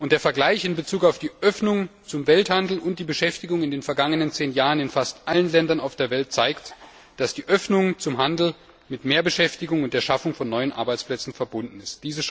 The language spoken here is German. Der Vergleich in Bezug auf die Öffnung zum Welthandel und die Beschäftigung in den vergangenen zehn Jahren in fast allen Ländern auf der Welt zeigt, dass die Öffnung zum Handel mit Mehrbeschäftigung und der Schaffung von neuen Arbeitsplätzen verbunden ist.